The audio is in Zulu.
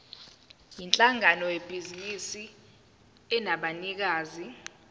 yinhlangano yebhizinisi enabanikazi